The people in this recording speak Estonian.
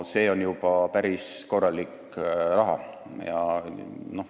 See on juba päris korralik raha.